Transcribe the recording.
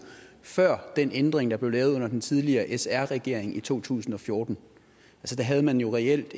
før den ændring der blev lavet under den tidligere sr regering i to tusind og fjorten der havde man jo reelt